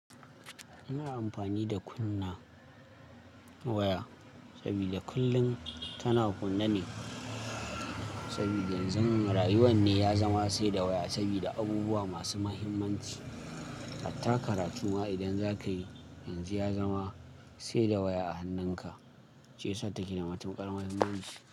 Ina amfani da kunna waya sabida kullun tana kunne ne, saboda yanzu rayuwar ne ya zama sai da waya sabida abubuwa masu mahimmanci. Hatta karatu ma idan za ka yi, yanzu ya zama sai da waya a hannunka, shi yasa take da matuƙar muhimmanci.